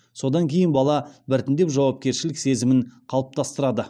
содан кейін бала біртіндеп жауапкершілік сезімін қалыптастырды